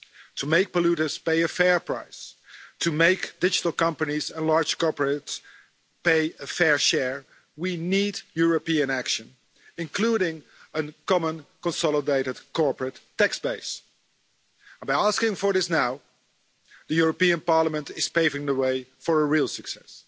To make polluters pay a fair price, to make digital companies and large corporates pay a fair share, we need European action including a Common Consolidated Corporate Tax Base, and by asking for this now, the European Parliament is paving the way for a real success.